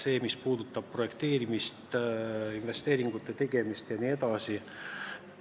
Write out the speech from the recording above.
See puudutab näiteks projekteerimist, investeeringute tegemist jne.